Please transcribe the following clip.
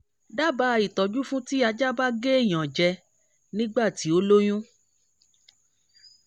dábàá ìtọ́jú fún ti ajá ba ge eyan je nígbà tí ó lóyún